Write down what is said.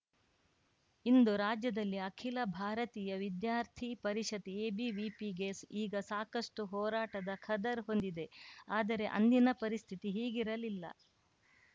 ಇಂದು ರಾಜ್ಯದಲ್ಲಿ ಅಖಿಲ ಭಾರತೀಯ ವಿದ್ಯಾರ್ಥಿ ಪರಿಷತ್‌ಎಬಿವಿಪಿಗೆ ಈಗ ಸಾಕಷ್ಟುಹೋರಾಟದ ಖದರ್‌ ಹೊಂದಿದೆ ಆದರೆ ಅಂದಿನ ಪರಿಸ್ಥಿತಿ ಹೀಗಿರಲಿಲ್ಲ